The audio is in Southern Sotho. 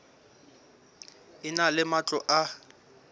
e na le matlo a